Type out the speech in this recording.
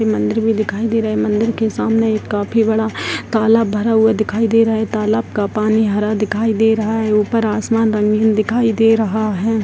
ये मंदिर भी दिखाई दे रहा है मंदिर के सामने एक काफी बड़ा तालाब भरा हुआ दिखाई दे रहा है तालाब का पानी हरा दिखाई दे रहा है ऊपर आसमान रंगीन दिखाई दे रहा है।